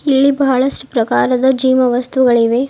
ಇಲ್ಲಿ ಬಹಳಷ್ಟು ಪ್ರಕಾರದ ಜಿಮ್ ವಸ್ತುಗಳಿವೆ.